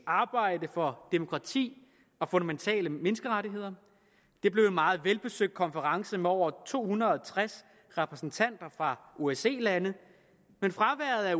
arbejde for demokrati og fundamentale menneskerettigheder det blev en meget velbesøgt konference med over to hundrede og tres repræsentanter fra osce lande men fraværet af